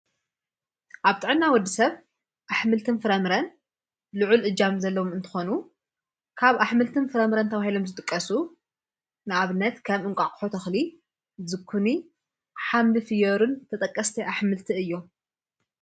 ኣብ ጥዕና ወዲ ሰብ ኣኅምልትን ፍረምረን ልዑ ል እጃም ዘሎዉ እንተኾኑ ካብ ኣኅምልትን ፍረምረን ተውሔሎም ዝጥቀሱ ንኣብነት ከም እንቋቕሖ ተኽሊ ዝኩኒ ሓምድ ፍዮርን ተጠቀስተ ኣኅምልቲ እዮም።